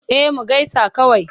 Eh mu gaisa kawai.